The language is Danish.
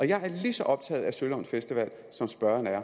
jeg er lige så optaget af sølund festival som spørgeren er